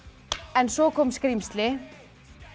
en svo kom skrímsli